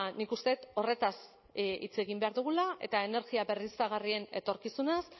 nik uste dut horretaz hitz egin behar dugula eta energia berriztagarrien etorkizunaz